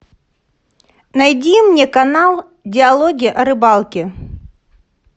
найди мне канал диалоги о рыбалке